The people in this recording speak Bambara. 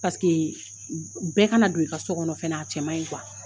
Paseke bɛɛ kana don i ka so kɔnɔ fɛnɛ a cɛman in